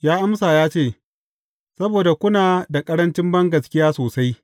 Ya amsa ya ce, Saboda kuna da ƙarancin bangaskiya sosai.